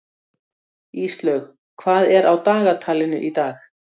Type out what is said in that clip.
Íslaug, hvað er á dagatalinu í dag?